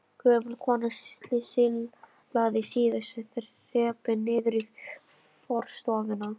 Gömul kona silaðist síðustu þrepin niður í forstofuna.